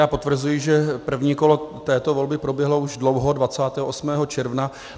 Já potvrzuji, že první kolo této volby proběhlo už dlouho, 28. června.